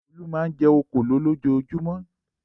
Olú máa ń jẹ òkòló lójoojúmọ́.